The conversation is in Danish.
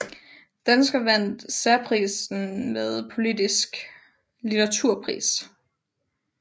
Dansker vandt særprisen ved Politikens Litteraturpris